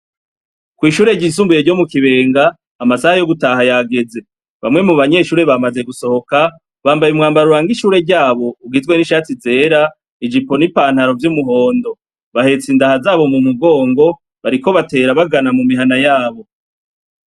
Kw'ishure ryisumbuye ryo mu Kibenga, amasaha yo gutaha yageze, bamwe mu banyeshure bamaze gusohoka bambaye umwambaro uranga ishure ryabo, ugizwe n'ishati zera, ijipo n'ipantaro vy'umuhondo, bahetse indaha zabo mu mugongo bariko batera bagana mu mihana yabo.